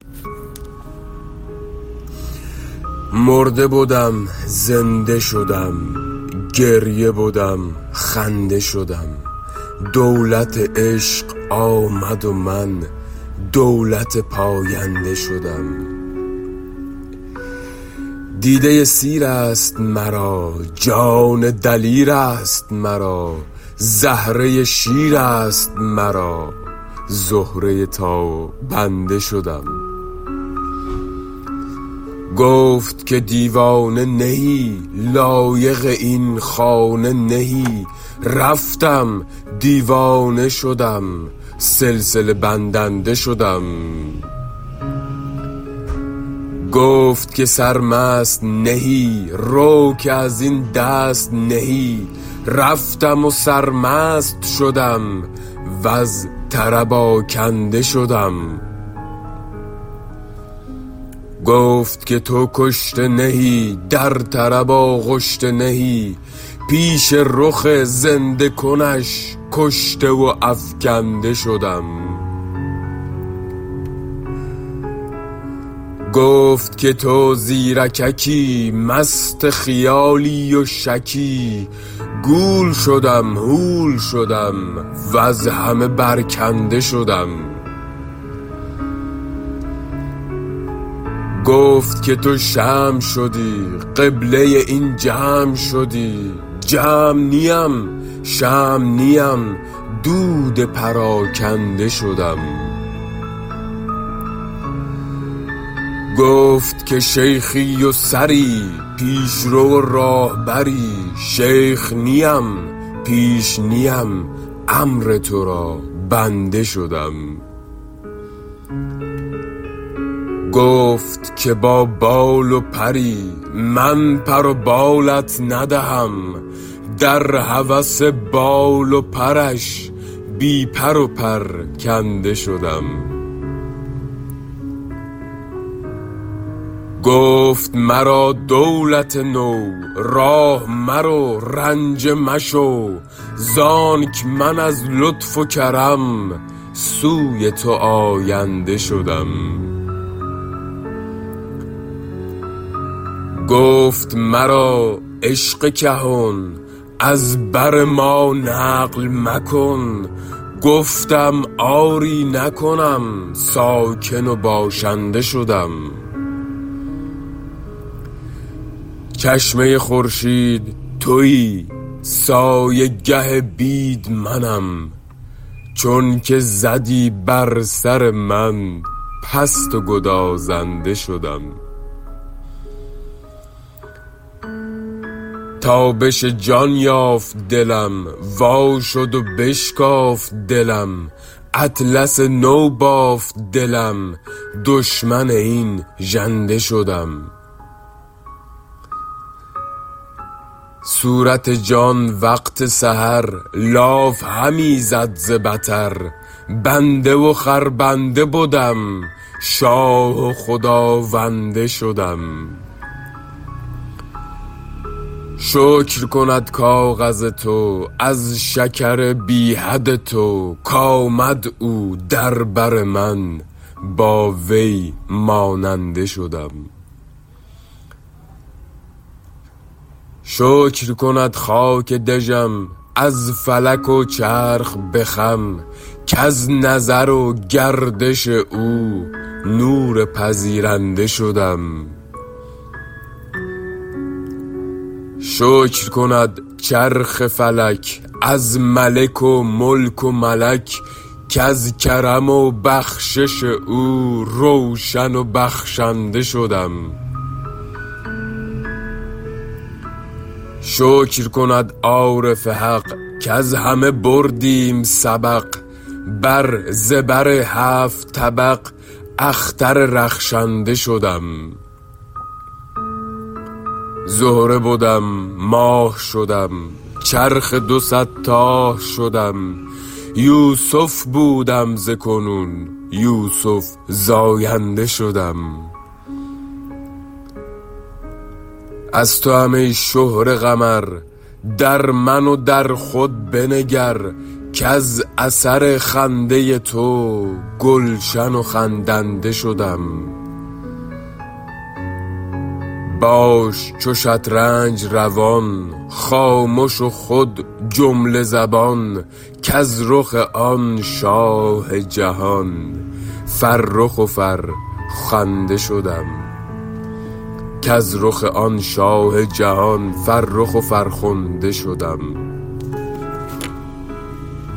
مرده بدم زنده شدم گریه بدم خنده شدم دولت عشق آمد و من دولت پاینده شدم دیده سیر است مرا جان دلیر است مرا زهره شیر است مرا زهره تابنده شدم گفت که دیوانه نه ای لایق این خانه نه ای رفتم دیوانه شدم سلسله بندنده شدم گفت که سرمست نه ای رو که از این دست نه ای رفتم و سرمست شدم وز طرب آکنده شدم گفت که تو کشته نه ای در طرب آغشته نه ای پیش رخ زنده کنش کشته و افکنده شدم گفت که تو زیرککی مست خیالی و شکی گول شدم هول شدم وز همه برکنده شدم گفت که تو شمع شدی قبله این جمع شدی جمع نیم شمع نیم دود پراکنده شدم گفت که شیخی و سری پیش رو و راهبری شیخ نیم پیش نیم امر تو را بنده شدم گفت که با بال و پری من پر و بالت ندهم در هوس بال و پرش بی پر و پرکنده شدم گفت مرا دولت نو راه مرو رنجه مشو زانک من از لطف و کرم سوی تو آینده شدم گفت مرا عشق کهن از بر ما نقل مکن گفتم آری نکنم ساکن و باشنده شدم چشمه خورشید تویی سایه گه بید منم چونک زدی بر سر من پست و گدازنده شدم تابش جان یافت دلم وا شد و بشکافت دلم اطلس نو بافت دلم دشمن این ژنده شدم صورت جان وقت سحر لاف همی زد ز بطر بنده و خربنده بدم شاه و خداونده شدم شکر کند کاغذ تو از شکر بی حد تو کآمد او در بر من با وی ماننده شدم شکر کند خاک دژم از فلک و چرخ به خم کز نظر و گردش او نور پذیرنده شدم شکر کند چرخ فلک از ملک و ملک و ملک کز کرم و بخشش او روشن بخشنده شدم شکر کند عارف حق کز همه بردیم سبق بر زبر هفت طبق اختر رخشنده شدم زهره بدم ماه شدم چرخ دو صد تاه شدم یوسف بودم ز کنون یوسف زاینده شدم از توام ای شهره قمر در من و در خود بنگر کز اثر خنده تو گلشن خندنده شدم باش چو شطرنج روان خامش و خود جمله زبان کز رخ آن شاه جهان فرخ و فرخنده شدم